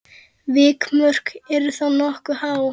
Vikmörk eru þá nokkuð há.